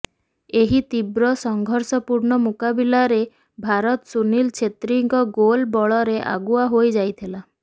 ଏହି ତୀବ୍ର ସଂଘର୍ଷପୂର୍ଣ୍ଣ ମୁକାବିଲାରେ ଭାରତ ସୁନୀଲ ଛେତ୍ରୀଙ୍କ ଗୋଲ୍ ବଳରେ ଆଗୁଆ ହୋଇ ଯାଇଥିଲା